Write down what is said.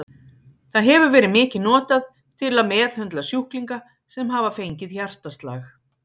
Það hefur verið mikið notað til að meðhöndla sjúklinga sem hafa fengið hjartaslag.